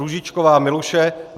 Růžičková Miluše